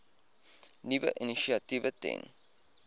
nuwe initiatiewe ten